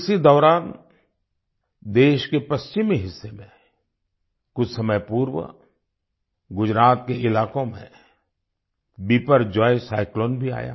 इसी दौरान देश के पश्चिमी हिस्से में कुछ समय पूर्व गुजरात के इलाकों में बिपरजॉय साइक्लोन भी आया